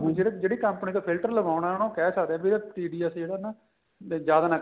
ਜਿਹੜੀ company ਤੋਂ filter ਲਵਾਉਣਾ ਉਹਨੂੰ ਕਹਿ ਸਕਦੇ ਆ TDS ਜਿਹੜਾ ਨਾ ਜਿਆਦਾ ਨਾ